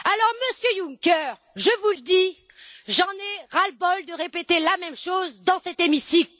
Alors, Monsieur Juncker, je vous le dis, j'en ai ras le bol de répéter la même chose dans cet hémicycle.